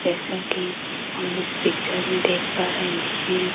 जैसा कि हम इस पिक्चर में देख पा रहे हैं।